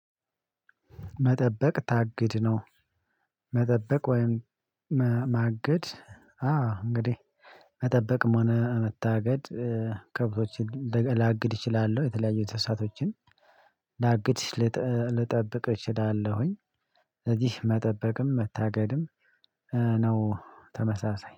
መጠበቅ ታግድ ነው? መጠበቅ ወይም ማገድ? አዎ እንግዲህ መጠበቅም ሆነ መታገድ ከብቶችን ላግድ እችላለሁ የተለያዩ እንሰሳቶችን ላግድ ልጠብቅ እችላለሁኝ። እዚህ መጠበቅም መታገድም ነው ተመሳሳይ